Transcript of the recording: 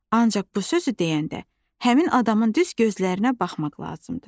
Ancaq bu sözü deyəndə, həmin adamın düz gözlərinə baxmaq lazımdır.